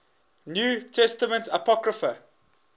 new testament apocrypha